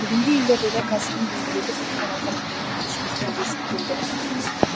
бүгінде елордада кәсібін дөңгелетіп отырған азаматтармен тілшіміз тілдесіп келді